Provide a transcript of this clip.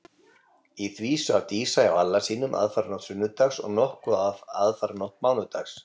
Í því svaf Dísa hjá Alla sínum aðfaranótt sunnudags og nokkuð af aðfaranótt mánudags.